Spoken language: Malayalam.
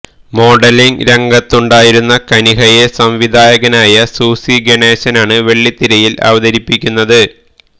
മോഡലിങ് രംഗത്തുണ്ടായിരുന്ന കനിഹയെ സംവിധായകനായ സൂസി ഗണേശനാണ് വെള്ളിത്തിരയില് അവതരിപ്പിക്കുന്നത്